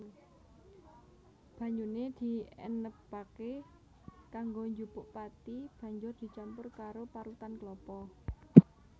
Banyune dienebake kanggo njupuk pathi Banjur dicampur karo parutan klapa